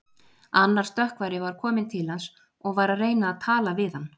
Annar stökkvari var kominn til hans og var að reyna að tala við hann.